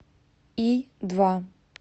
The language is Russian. и два